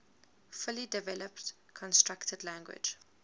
fully developed constructed language